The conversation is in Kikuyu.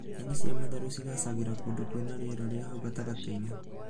Nyeni cia matharũ cigaacagĩra kũndũ kwĩna rĩera rĩ hau gatagatĩ-inĩ